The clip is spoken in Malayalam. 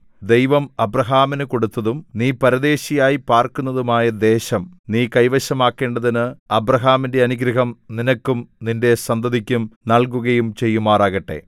ദൈവം അബ്രാഹാമിനു കൊടുത്തതും നീ പരദേശിയായി പാർക്കുന്നതുമായ ദേശം നീ കൈവശമാക്കേണ്ടതിന് അബ്രാഹാമിന്റെ അനുഗ്രഹം നിനക്കും നിന്റെ സന്തതിക്കും നൽകുകയും ചെയ്യുമാറാകട്ടെ